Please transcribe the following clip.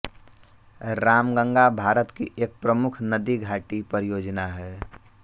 रामगंगा भारत की एक प्रमुख नदी घाटी परियोजना हैं